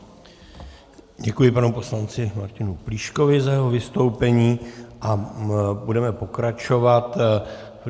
Děkuji panu poslanci Martinu Plíškovi za jeho vystoupení a budeme pokračovat.